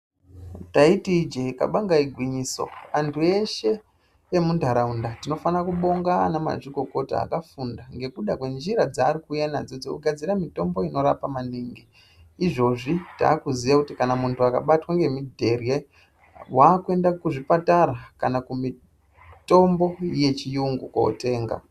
Taiti ijee kabanga igwinyiso, antu eshe emuntaraunda tinofanekubonga anamazvikokota akafunda ngekuda kwenjira dzaari kuuya nadzo dzekugadzira mitombo inorapa maningi. Izvozvi takuziya kuti kana muntu akabatwa ngemidherye, waakuende kuzvipatara kana kumitombo yechiyungu kotenga.